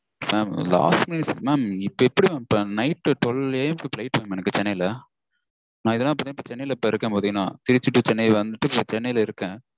Mam last minute mam இப்போ எப்படி night twelveA. M -க்கு Flight mam எனக்கு சென்னைல. நா இதனால சென்னைல இருக்கேன் பாத்தீங்கனா. திருச்சி to சென்னை வந்துட்டு இப்போ சென்னைல இருக்கேன்